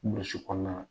Burusi kɔnɔna na